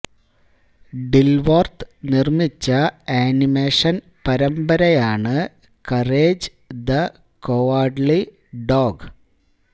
Dilworth നിർമ്മിച്ച animation പരമ്പരയാണ് Courage the Cowardly dog